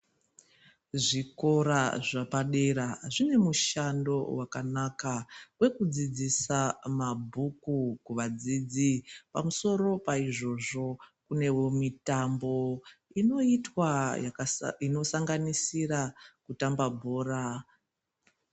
Zvikora zvapadera zvine mushando vakanaka vekudzidzisa mabhuku kuvadzidzi. Pamusoro paizvozvo kunevo mitambo inoitwa inosanganisira kutamba bhora.